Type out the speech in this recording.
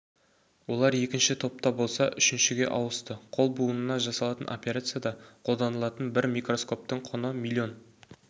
олар екінші топта болса үшіншіге ауысты қол буынына жасалатын операцияда қолданылатын бір микроскоптың құны млн